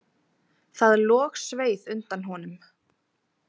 Það logsveið undan honum.